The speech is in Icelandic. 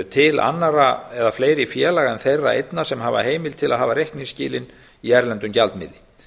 til annarra eða fleiri félaga en þeirra einna sem hafa heimild til að hafa reikningsskilin í erlendum gjaldmiðli